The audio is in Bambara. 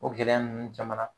O gɛlɛya ninnu caman na